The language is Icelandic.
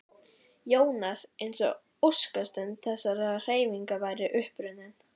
Jónas eins og óskastund þessarar hreyfingar væri upp runnin.